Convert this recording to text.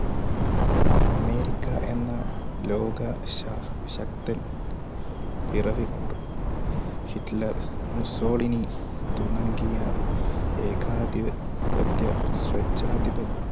അമേരിക്കഎന്ന ലോക ശക്തൻ പിറവികൊണ്ടു. ഹിറ്റ്ലർ മുസോളിനി തുടങ്ങിയ ഏകാധിപത്യ സ്വേച്ഛാദി